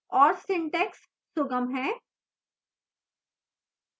और syntax सुगम है